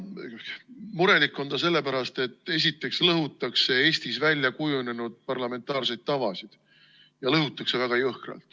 Murelik on ta sellepärast, et esiteks lõhutakse Eestis väljakujunenud parlamentaarseid tavasid ja lõhutakse väga jõhkralt.